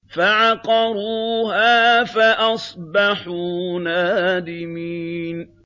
فَعَقَرُوهَا فَأَصْبَحُوا نَادِمِينَ